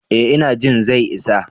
Eh ina jin zai isa.